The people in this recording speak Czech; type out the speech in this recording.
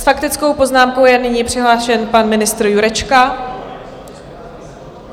S faktickou poznámkou je nyní přihlášen pan ministr Jurečka.